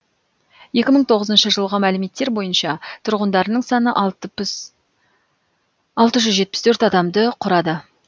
екі мың тоғызыншы жылғы мәліметтер бойынша тұрғындарының саны алты жүз жетпіс төрт адамды құрады